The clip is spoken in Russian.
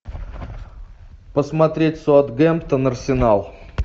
посмотреть саутгемптон арсенал